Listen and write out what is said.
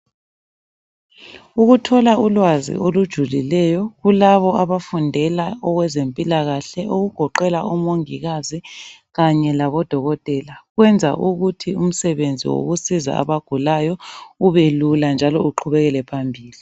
Ukuthola ulwazi olujulileyo kulabo abafundela okwezempilakahle okugoqela omongikazi kanye labodokotela kwenza ukuthi umsebenzi wokusiza abagulayo ubelula njalo uqhubekele phambili.